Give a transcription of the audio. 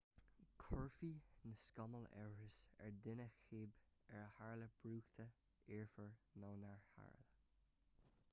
chuirfeadh na scamaill amhras ar dhuine cibé ar tharla brúchtadh iarbhír nó nár tharla